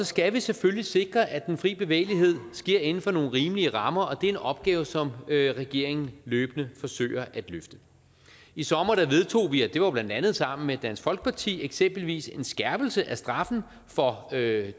skal vi selvfølgelig sikre at den fri bevægelighed sker inden for nogle rimelige rammer og det er en opgave som regeringen løbende forsøger at løfte i sommer vedtog vi og det var blandt andet sammen med dansk folkeparti eksempelvis en skærpelse af straffen for det